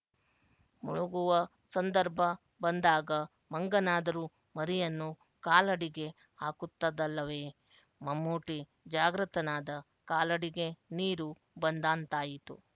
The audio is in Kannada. ಮುಳುಗುವ ಸಂದರ್ಭ ಬಂದಾಗ ಮಂಗನಾದರೂ ಮರಿಯನ್ನು ಕಾಲಡಿಗೆ ಹಾಕುತ್ತದಲ್ಲವೇ ಮಮ್ಮೂಟಿ ಜಾಗೃತನಾದ ಕಾಲಡಿಗೆ ನೀರು ಬಂದಂತಾಯಿತು